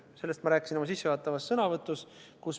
Sellest ma rääkisin oma sissejuhatavas sõnavõtus.